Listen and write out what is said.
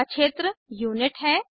अगला क्षेत्र यूनिट है